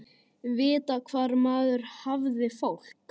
Vita hvar maður hafði fólk.